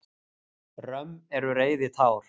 Römm eru reiðitár.